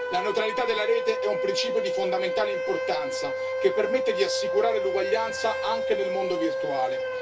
La neutralità della Rete è un principio di fondamentale importanza che permette di assicurare l'uguaglianza anche nel mondo virtuale.